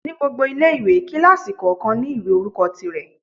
Ní gbogbo ilé-ìwé, kílásì kọ̀ọ̀kan ní ìwé orúkọ ti rẹ̀